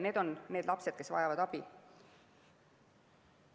Need on need lapsed, kes vajavad abi.